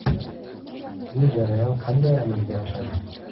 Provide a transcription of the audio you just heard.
Bu jarayon qanday amalga oshadi?